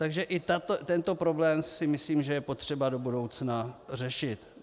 Takže i tento problém si myslím, že je potřeba do budoucna řešit.